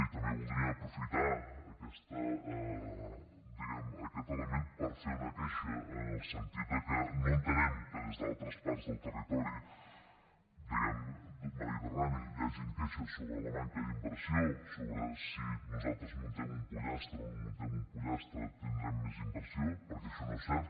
i també voldríem aprofitar aquest element per fer una queixa en el sentit de que no entenem que des d’altres parts del territori diguem ne mediterrani hi hagin queixes sobre la manca d’inversió sobre el fet que si nosaltres muntem un pollastre o no muntem un pollastre tindrem més inversió perquè això no és cert